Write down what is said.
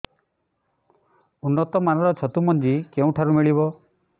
ଉନ୍ନତ ମାନର ଛତୁ ମଞ୍ଜି କେଉଁ ଠାରୁ ମିଳିବ